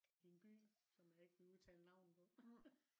i en by som jeg ikke vil udtale navnet på